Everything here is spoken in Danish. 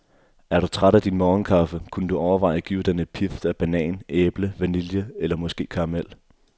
Er du træt af din morgenkaffe, kunne du overveje at give den et pift af banan, æble, vanille eller måske karamel.